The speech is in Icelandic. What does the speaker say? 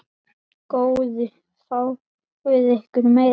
Góðu fáið ykkur meira.